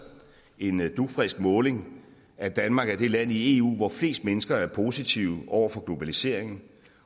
en dugfrisk måling at danmark er det land i eu hvor flest mennesker er positive over for globaliseringen